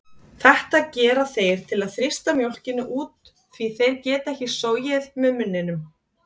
Þetta gera þeir til að þrýsta mjólkinni út því þeir geta ekki sogið með munninum.